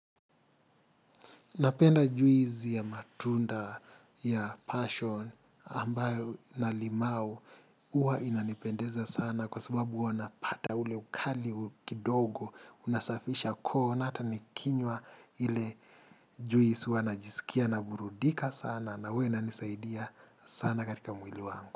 Napenda juisi ya matunda ya passion ambayo na limau uwa inanipendeza sana kwa sababu wanapata ule ukali, kidogo, unasafisha koo na hata nikinywa ile juisi huwa najisikia na burudika sana na huwa inanisaidia sana katika mwili wangu.